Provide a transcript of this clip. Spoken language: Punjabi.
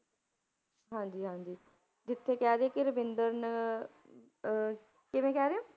ਹਾਂਜੀ ਹਾਂਜੀ ਜਿੱਥੇ ਕਹਿ ਦੇਈਏ ਕਿ ਰਵਿੰਦਰ ਨਾ~ ਅਹ ਕਿਵੇਂ ਕਹਿ ਰਹੇ ਹੋ?